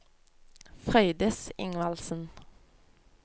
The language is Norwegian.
Frøydis Ingvaldsen